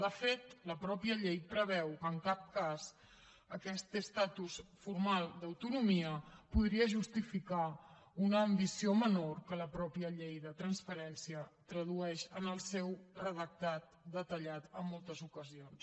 de fet la mateixa llei preveu que en cap cas aquest estatus formal d’autonomia podria justificar una ambició menor que la que la mateixa llei de transparència tradueix en el seu redactat detallat en moltes ocasions